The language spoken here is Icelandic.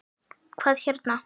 Hvað hérna.